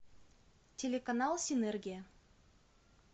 телеканал синергия